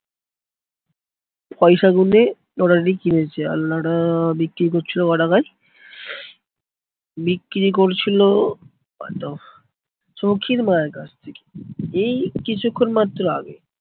পয়সা গুনে লোটাটি কিনেছে। বিক্রি করছিলো কটাকায় বিক্রি করছিলো কত সৌখীর মায়ের কাছ থেকে এই কিছুক্ষন মাত্র আগে.